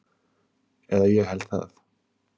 Eða ég held það.